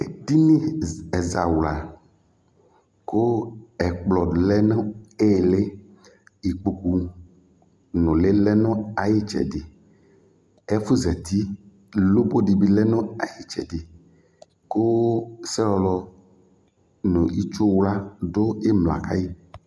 Edini ɛzawla kʋ ɛkplɔ lɛ nʋ iili Ikpoku nʋli lɛ nʋ ayʋ itsɛdi Ɛfu zati lopo dι dʋ ayʋ itsɛdi kʋ selɔlɔ nʋ itsuwla dʋ imla kayʋ